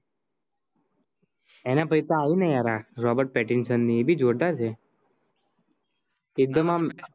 એના પછી આઇ ને યાર Robert Pattinson ની એબી જોરદાર છે એકડમ